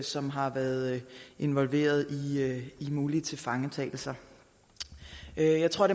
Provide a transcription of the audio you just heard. som har været involveret i mulige tilfangetagelser jeg tror